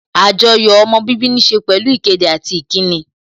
Àjoyò ọmọ bíbí níse pẹ̀lú ìkéde àti ìkíni